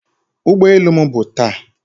ụgbọ elu m bụ taa